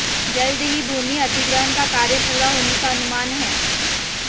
जल्द ही भूमि अधिग्रहण का कार्य पूरा होने का अनुमान है